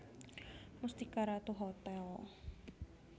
Mustika Ratu Hotel